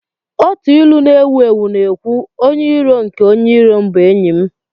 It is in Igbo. Otu ilu na-ewu ewu na-ekwu, "Onye iro nke onye iro m bụ enyi m